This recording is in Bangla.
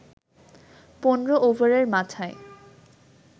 ১৫ ওভারের মাথায়